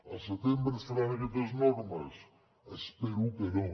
al setembre estaran aquestes normes espero que no